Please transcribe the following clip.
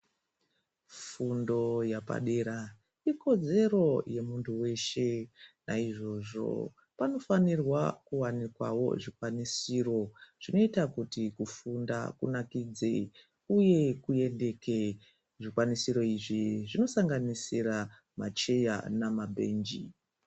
Fundo yepadera ikodzero yemuntu weshe. Naizvozvo panofanirwa kuwanikwawo zvikwanisiro zvinoita kuti kufunda kunakidze uye kuyendeke. Zvikwanisiro izvi zvinosanganisira macheya nemabhenji.